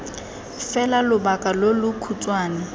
fela lobaka lo lo khutshwane